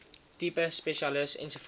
tipe spesialis ens